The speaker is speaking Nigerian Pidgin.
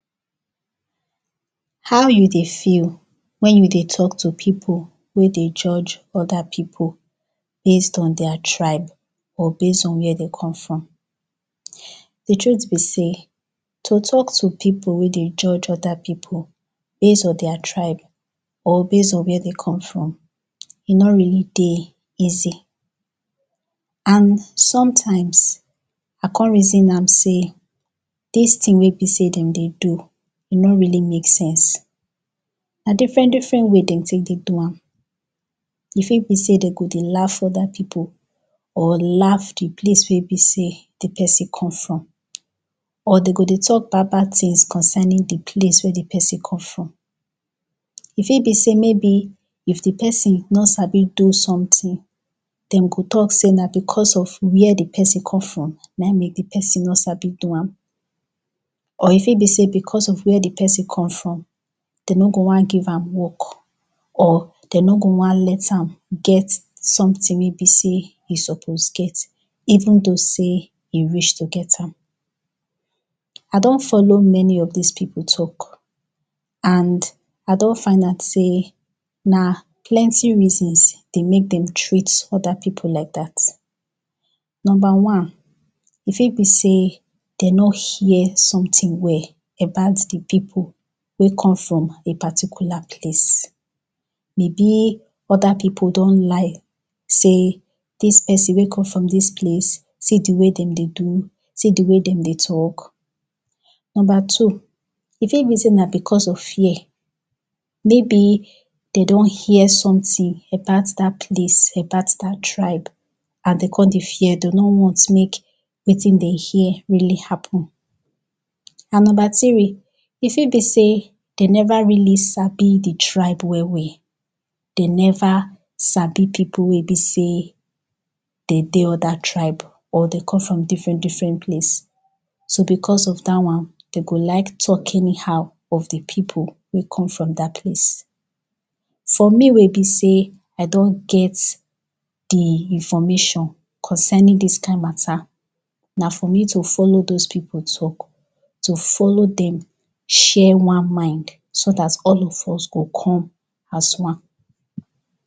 How you dey feel? wen you dey talk to people wey dey judge other people based on dier tribe or based on where dey come from de truth be sey to talk to people wey dey judge other people based on dier tribe or based on where dey come from e no really dey easy and sometimes I come reason am sey dis tin wey be sey dem dey do e no really make sense na different different way dem dey take do am. e fit be sey dey do dey laugh other people or laugh de place wey be sey de person come from or dey go dey talk bad bad tins concerning de place wey de person come from e fit be sey maybe if de person no sabi do sometin dem go talk na because of where de person come from na himmake de person no sabi do am. or e fit be sey because of where de person come from dem no go want give am work or dey no go want let am sometin wey be sey e suppose get eventhough sey you wish to get am I don follow many of dis people talk and I don find out sey na plenty reasons dey make dem treat others like dat number one e fit be sey dey no hear sometin well about de people wey come from a particular maybe other don't like sey dis person wey come from dis place see de way dem dey do see de way dem dey talk number two e fit be sey na because of fear maybe dey don hear sometin about dat place, about dat tribe and dey come dey fear, dey no want make wetin dem hear really happen and number three e fit be sey dey never really sabi de tribe well well dey never sabi people wey be sey dey dey other tribe or dey come from different different place so because of dat one dey go like talk anyhow of de people wey come from dat place some men wey be sey i don get de information concerning dis kind matter na for me to follow those people talk to follow dem share one mind so dat all of us go come as one.